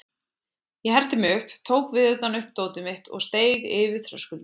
Ég herti mig upp, tók viðutan upp dótið mitt og steig yfir þröskuldinn.